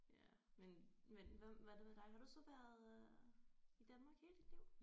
Ja men men hvad hvad er det med dig har du så været øh i Danmark hele dit liv